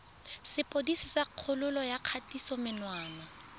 sepodisi sa kgololo ya kgatisomenwa